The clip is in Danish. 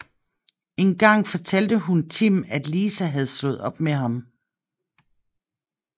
En gang fortalte hun Tim at Lisa havde slået op med ham